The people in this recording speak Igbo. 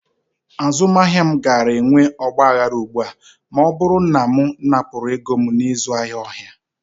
Azụmahịa m gaara enwe ọgba aghara ugbu a ma ọ bụrụ na m napụrụ ego m n'ịzụ ahịa ọhịa.